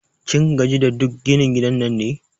Kin gaji da duk ginin gidan nan ne?